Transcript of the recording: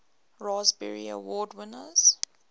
raspberry award winners